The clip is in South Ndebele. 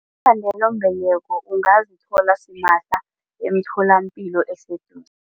Iinkhandelambeleko ungazithola simahla emtholapilo eseduze.